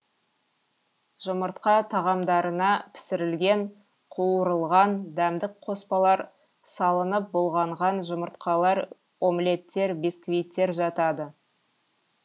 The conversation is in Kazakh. жұмыртқа тағамдарына пісірілген қуырылған дәмдік қоспалар салынып бұлғанған жұмыртқалар омлеттер бисквиттер жатады